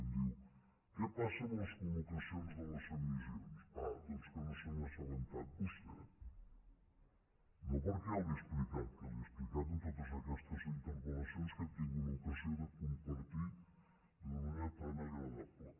em diu què passa amb les col·locacions de les emissions ah doncs que no se n’ha assabentat vostè no perquè jo li ho hagi explicat que li ho he explicat en totes aquestes interpel·lacions que hem tingut l’ocasió de compartir d’una manera tan agradable